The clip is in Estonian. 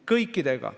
Kõikidega.